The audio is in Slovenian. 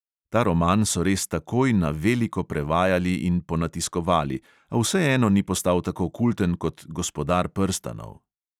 Ta roman so res takoj na veliko prevajali in ponatiskovali, a vseeno ni postal tako kulten kot gospodar prstanov.